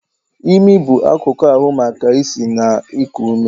Imi bụ akụkụ ahu maka isi na iku ume.